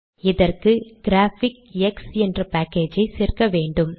இதற்கு கிராபிக்ஸ் என்ற பேக்கேஜை சேர்க்க வேண்டும்